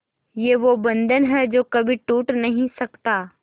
ये वो बंधन है जो कभी टूट नही सकता